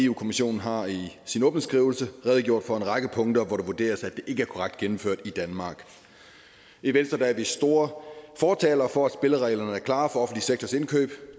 kommissionen har i sin åbningsskrivelse redegjort for en række punkter hvor det vurderes at det ikke er korrekt gennemført i danmark i venstre er vi store fortalere for at spillereglerne er klare for den sektors indkøb